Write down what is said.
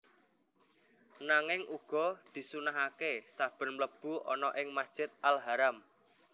Nanging uga disunnahaké saben mlebu ana ing Masjid Al Haram